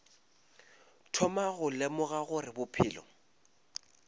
thoma go lemoga gore bophelo